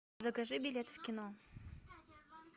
закажи билет в кино